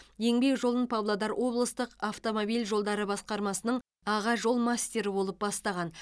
еңбек жолын павлодар облыстық автомобиль жолдары басқармасының аға жол мастері болып бастаған